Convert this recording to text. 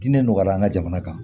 Diinɛ nɔgɔya an ka jamana kan